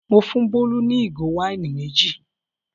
Mo fún Bólú ní ìgò wáìnì méjì.